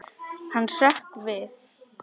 Hann hrökk við.